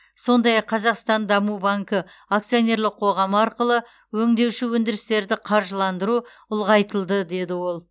сондай ақ қазақстан даму банкі акционерлік қоғамы арқылы өңдеуші өндірістерді қаржыландыру ұлғайтылды деді ол